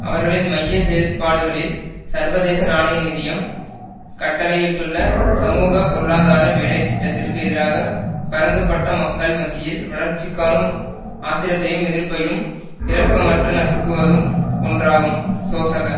அவர்களின் மைய செயற்ப்பாடுகளில் சர்வதேச நாணய நிதியம் கட்டளையிட்டுள்ள சமூக பொருளாதார வேலை திட்டத்திற்கு எதிராக பரந்துபட்ட மக்கள் மத்தியில் வளர்ச்சிகாணும் ஆத்திரத்தையும் எதிர்ப்பையும் இரக்கமற்று நசுக்குவதும் ஒன்றாகும் சோசக